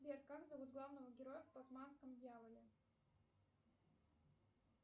сбер как зовут главного героя в тасманском дьяволе